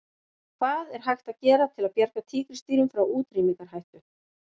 Hvað er hægt að gera til að bjarga tígrisdýrum frá útrýmingarhættu?